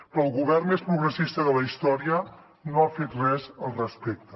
però el govern més progressista de la història no ha fet res al respecte